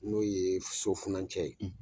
N'o ye so funacɛ ye.